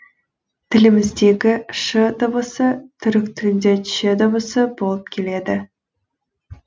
тіліміздегі ш дыбысы түрік тілінде ч дыбысы болып келеді